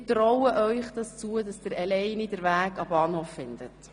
Ich traue Ihnen zu, dass Sie alleine den Weg zum Bahnhof finden.